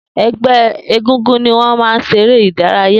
Egbe eégúngún ní wọn máa ń ṣeré ìdárayá.